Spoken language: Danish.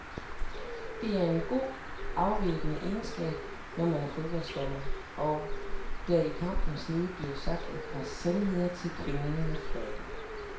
Det er en god, afvæbnende egenskab, når man er fodbolddommer, og der i kampens hede bliver sagt et par sandheder til kvinden med fløjten.